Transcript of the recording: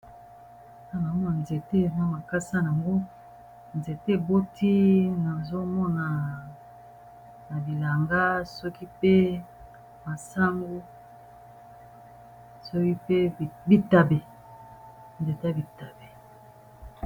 na namo na nzete na makasa yango nzete eboti nazomona na bilanga soki pe masango soki mpe nzete bitabe